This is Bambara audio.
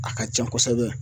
A ka ca kosɛbɛ